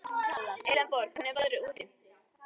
Elenborg, hvernig er veðrið úti?